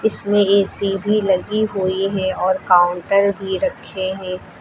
इसमें ए_सी भी लगी हुई है और काउंटर भी रखे हैं।